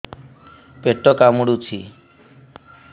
ପେଟ କାମୁଡୁଛି